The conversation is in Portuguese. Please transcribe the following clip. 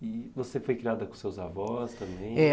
E você foi criada com seus avós também? É.